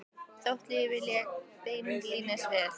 Þótt lífið léki ekki beinlínis við